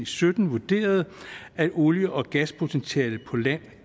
sytten vurderede at olie og gaspotentialet på land